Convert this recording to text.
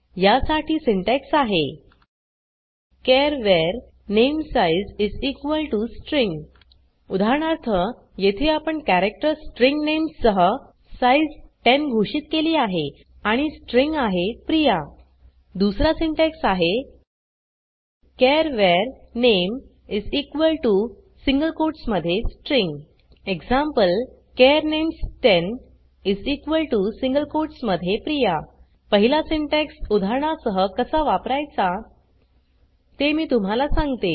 या साठी सिंटेक्स आहे चार var namesize स्ट्रिंग उदाहरणार्थ येथे आपण कॅरेक्टर स्ट्रिंग नेम्स सह साइज़ 10 घोषित केली आहे आणि स्ट्रिँग आहे प्रिया दुसरा सिंटॅक्स आहे char var name single quotes मध्ये string eg char names10 single quotes मध्ये प्रिया पहिला सिंटॅक्स उदाहरणा सह कसा वापरायचा ते मी तुम्हाला सांगते